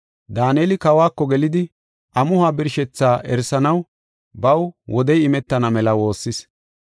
Daaneli kawako gelidi, amuhuwa birshethaa erisanaw baw wodey imetana mela woossis.